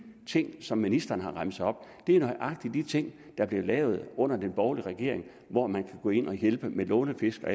ting som ministeren har remset op er nøjagtig de ting der blev lavet under den borgerlige regering hvor man kan gå ind og hjælpe med lånefisk og